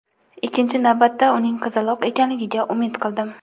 Ikkinchi navbatda uning qizaloq ekanligiga umid qildim.